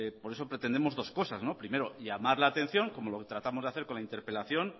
por eso pretendemos dos cosas primero llamar la atención como lo tratamos de hacer con la interpelación